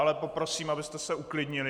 Ale poprosím, abyste se uklidnili.